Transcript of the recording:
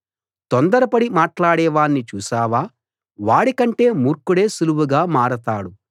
తొందరపడి మాట్లాడే వాణ్ణి చూసావా వాడికంటే మూర్ఖుడే సుళువుగా మారతాడు